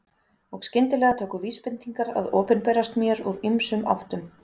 Og skyndilega tóku vísbendingar að opinberast mér úr ýmsum áttum.